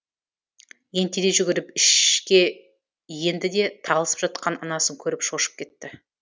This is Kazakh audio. ентелей жүгіріп ішке енді де талысып жатқан анасын көріп шошып кетті